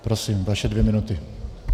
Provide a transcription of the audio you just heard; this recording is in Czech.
Prosím, vaše dvě minuty.